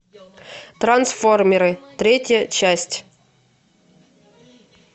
трансформеры третья часть